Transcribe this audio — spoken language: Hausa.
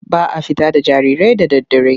Ba a fita da jarirai da daddare.